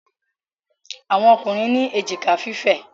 Àwọn Ọkùnrin ní èjìká fífẹ̀.